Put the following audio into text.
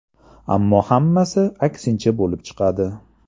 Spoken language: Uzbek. Ammo hammasi aksincha bo‘lib chiqadi.